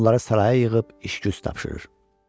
Onları saraya yığıb iş güz tapşırır.